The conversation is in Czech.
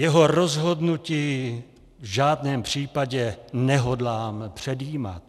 Jeho rozhodnutí v žádném případě nehodlám předjímat.